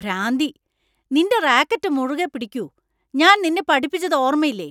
ഭ്രാന്തി. നിന്‍റെ റാക്കറ്റ് മുറുകെ പിടിക്കൂ . ഞാൻ നിന്നെ പഠിപ്പിച്ചത് ഓർമയില്ലേ.